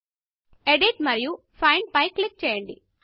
edit మరియు find find పై click చేయండి